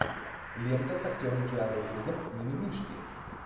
лента с актером киану ривзом ми ми мишки